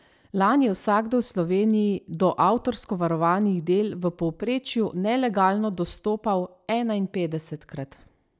Lani je vsakdo v Sloveniji do avtorsko varovanih del v povprečju nelegalno dostopal enainpetdesetkrat.